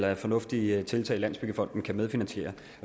er et fornuftigt tiltag landsbyggefonden kan medfinansiere